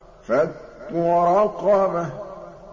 فَكُّ رَقَبَةٍ